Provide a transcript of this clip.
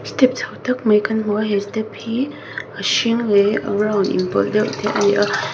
step chho tak mai kan hmu a he step hi a hring leh a brown inpawlh deuh te ani a.